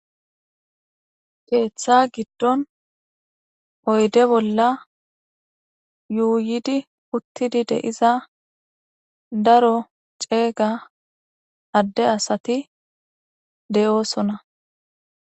keeththa giddon oyde bolla yuuyidi uttidi de iza daro ceega adde asati de'oosona